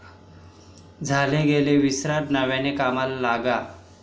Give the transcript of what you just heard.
झालं गेलं विसरा नव्याने कामाला लागा'